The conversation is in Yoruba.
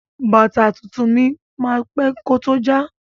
Bàtà tuntun máa pẹ́ kó tó já.